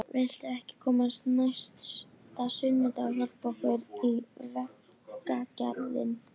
Kennsla í öllum greinum fór einvörðungu fram bréflega.